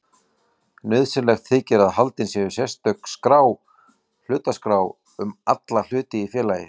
Nauðsynlegt þykir að haldin sé sérstök skrá, hlutaskrá, um alla hluti í félagi.